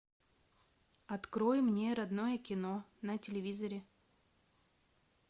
открой мне родное кино на телевизоре